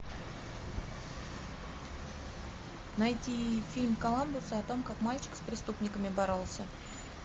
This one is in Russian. найти фильм коламбуса о том как мальчик с преступниками боролся